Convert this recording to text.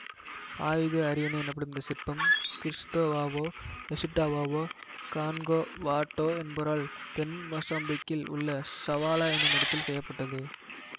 ஆயுத அரியணை எனப்படும் இந்த சிற்பம் கிறிசுத்தோவாவோ எசுட்டாவாவோ கன்காவாட்டோ என்பவரால் தென் மொசாம்பிக்கில் உள்ள சவாலா என்னும் இடத்தில் செய்ய பட்டது